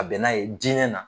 A bɛn n'a ye diinɛ na